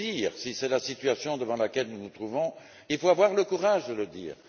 Si c'est la situation devant laquelle nous nous trouvons, il faut avoir le courage de le dire!